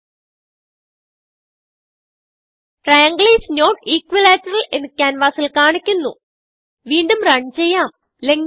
okay ട്രയാങ്ങിൽ is not equilateral എന്ന് ക്യാൻവാസിൽ കാണിക്കുന്നു വീണ്ടും റൺ ചെയ്യാം